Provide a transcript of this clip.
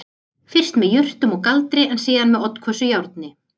Fyrst með jurtum og galdri en síðan með oddhvössu járni